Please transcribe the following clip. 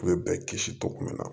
U ye bɛɛ kisi cogo min na